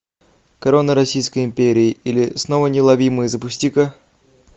корона российской империи или снова неуловимые запусти ка